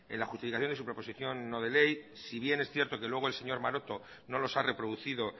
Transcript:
la justificación de su proposición no de ley si bien es cierto que luego el señor maroto no los ha reproducido